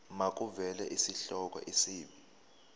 makuvele isihloko isib